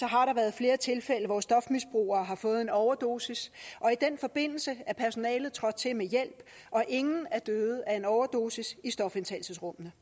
har der været flere tilfælde hvor stofmisbrugere har fået en overdosis og i den forbindelse er personalet trådt til med hjælp og ingen er døde af en overdosis i stofindtagelsesrummene